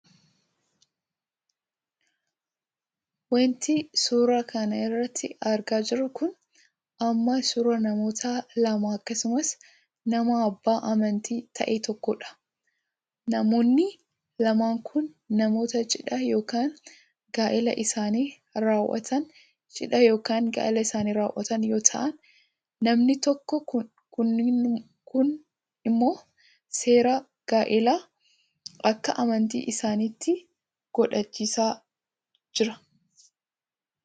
Wanti nuti suuraa kana irratti argaa jirru kun ammoo suuraa namoota lama akkasumas nama abbaa amantii ta'e tokkodha. Namoonni lamaan kun namoota cidha yookaan gaa'ila isaanii raawwatan yoo ta'an namni tokko kunimmoo seera gaa'ilaa akka amantii isaaniitti guuchisaa jira.